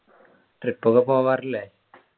trip ഒക്കെ പോവാറില്ലേ